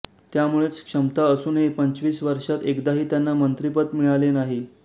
त्यामुळेच क्षमता असूनही पंचवीस वर्षांत एकदाही त्यांना मंत्रिपद मिळाले नाही